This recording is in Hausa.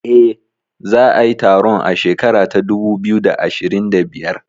Eh, za a yi taron a shekara ta dubu biyu da ashirin da biyar